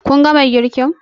Kun gama girkin?